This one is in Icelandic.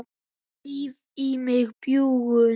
Ég ríf í mig bjúgun.